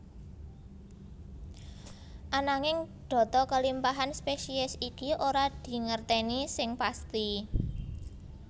Ananging data kelimpahan spesies iki ora dingerteni seng pasti